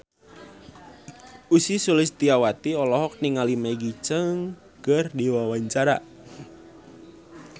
Ussy Sulistyawati olohok ningali Maggie Cheung keur diwawancara